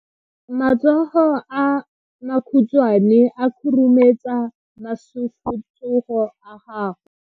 Matsogo a makhutshwane a khurumetsa masufutsogo a gago.